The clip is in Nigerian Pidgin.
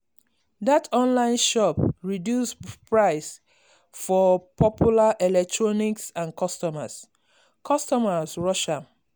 that online shop reduce price for popular electronics and customers customers rush am.